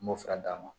N m'o fura d'a ma